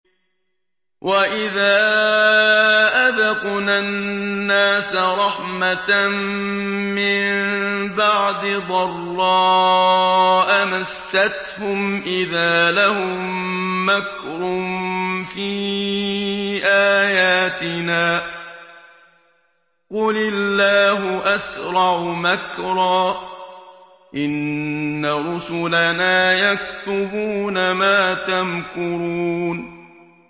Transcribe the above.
وَإِذَا أَذَقْنَا النَّاسَ رَحْمَةً مِّن بَعْدِ ضَرَّاءَ مَسَّتْهُمْ إِذَا لَهُم مَّكْرٌ فِي آيَاتِنَا ۚ قُلِ اللَّهُ أَسْرَعُ مَكْرًا ۚ إِنَّ رُسُلَنَا يَكْتُبُونَ مَا تَمْكُرُونَ